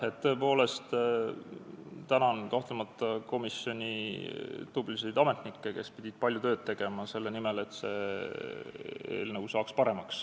Ma tõepoolest tänan komisjoni tublisid ametnikke, kes pidid palju tööd tegema selle nimel, et see eelnõu saaks paremaks.